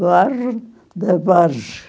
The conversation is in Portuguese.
Bairro da Barge.